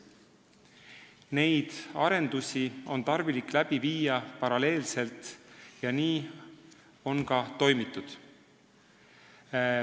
" Neid arendusi on tarvis paralleelselt läbi viia ja nii on ka toimitud.